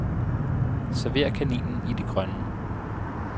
Server kaninen i det grønne.